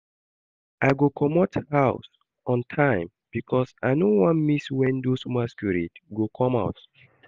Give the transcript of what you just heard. I go comot house on time because I no wan miss when those masquerade go come out